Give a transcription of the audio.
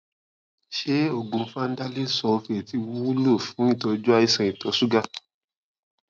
ṣé oògùn vanadyl sulfate wúlò fún ìtọjú àìsàn ìtọ ṣúgà